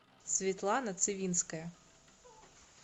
светлана цивинская